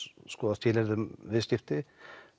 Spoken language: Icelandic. skoða skilyrði um viðskipti